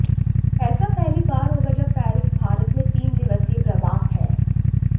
ऐसा पहली बार होगा जब पेरिस भारत में तीन दिवसीय प्रवास है